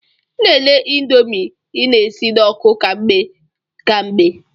Na-ele ịndomii ị na-esi n'oku ka mgbe ka mgbe.